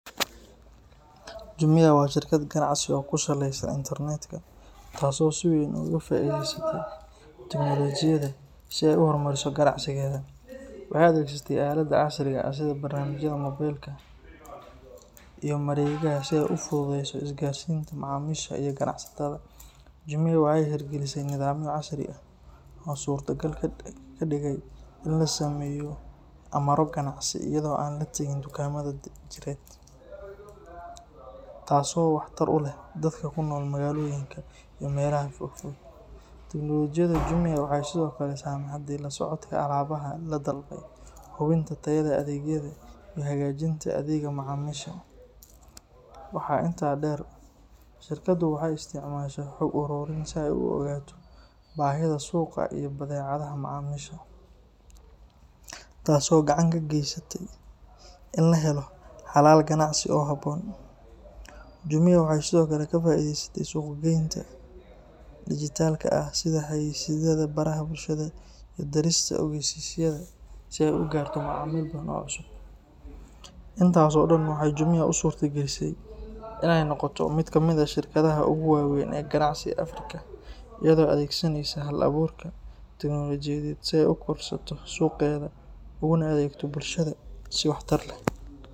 Jumia waa shirkad ganacsi oo ku saleysan internetka, taas oo si weyn uga faa’iideysatay teknolojiyadda si ay u horumariso ganacsigeeda. Waxay adeegsatay aaladaha casriga ah sida barnaamijyada moobilka iyo mareegaha si ay u fududeyso isgaarsiinta macaamiisha iyo ganacsatada. Jumia waxay hirgelisay nidaamyo casri ah oo suurtagal ka dhigay in la sameeyo amarro ganacsi iyadoo aan la tegin dukaamada jireed, taasoo waxtar u leh dadka ku nool magaalooyinka iyo meelaha fog fog. Teknolojiyadda Jumia waxay sidoo kale saamaxday la socodka alaabaha la dalbaday, hubinta tayada adeegyada, iyo hagaajinta adeegga macaamiisha. Waxaa intaa dheer, shirkaddu waxay isticmaashaa xog ururin si ay u ogaato baahida suuqa iyo dabeecadaha macaamiisha, taasoo gacan ka geysatay in la helo xalal ganacsi oo habboon. Jumia waxay sidoo kale ka faa’iideysatay suuq-geynta dhijitaalka ah sida xayeysiisyada baraha bulshada iyo dirista ogeysiisyada si ay u gaarto macaamiil badan oo cusub. Intaas oo dhan waxay Jumia u suurta gelisay inay noqoto mid ka mid ah shirkadaha ugu waaweyn ee ganacsi ee Afrika, iyadoo adeegsaneysa hal-abuurka teknolojiyadeed si ay u korodhsato suuqeeda uguna adeegto bulshada si waxtar leh.